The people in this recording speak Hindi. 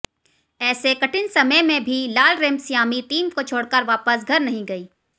ऐसे कठिन समय में भी लालरेमसियामी टीम को छोड़कर वापस घर नहीं गईं